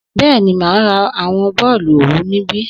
Bẹ́ẹ̀ni, mà á ra àwọn bọ́ọ̀lù òwú níbí